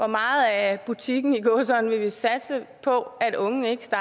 meget af butikken i gåseøjne vi vil satse på at unge ikke